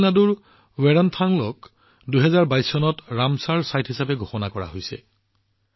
তামিলনাডুৰ বেদনথাংগলক ২০২২ চনত ৰামচৰ স্থান হিচাপে ঘোষণা কৰা হৈছিল